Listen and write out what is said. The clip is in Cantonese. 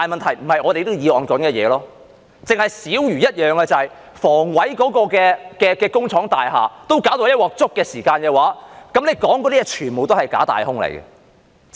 只是小如一件事，就是房委會的工廠大廈都搞到"一鑊粥"的時候，你們說的全都是假大空。